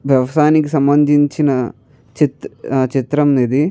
వ్యవసాయానికి సంబందించిన చిత్రం ఇది.